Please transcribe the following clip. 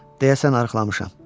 Deyəsən arıqlamışam.